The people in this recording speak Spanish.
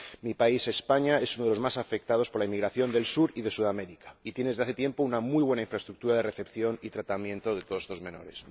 Mi país, España, es uno de los más afectados por la inmigración del Sur y de Sudamérica y tiene desde hace tiempo una muy buena infraestructura de recepción y tratamiento de todos estos menores.